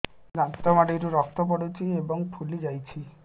ଦାନ୍ତ ମାଢ଼ିରୁ ରକ୍ତ ପଡୁଛୁ ଏବଂ ଫୁଲି ଯାଇଛି